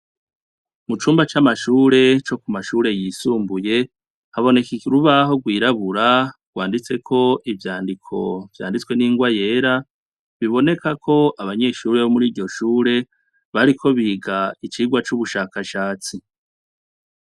Mucumba c' amashure cokumashure yisumbuye, haboneka urubaho rwirabura rwanditseko ivyandiko vyanditswe n'ingwa yera, bibonekako abanyeshure bomuriryo shure bariko biga icigwa c'ubushakashatsi.